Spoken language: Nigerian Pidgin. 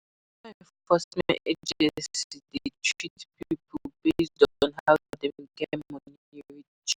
E de make pipo or um organization to fit go against di law and go free